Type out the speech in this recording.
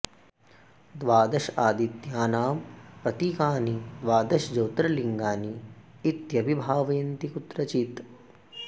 द्वादश आदित्यानां प्रतीकानि द्वादश ज्योतिर्लिङ्गानि इत्यपि भावयन्ति कुत्रचित्